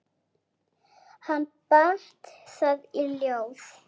Hann batt það í ljóð.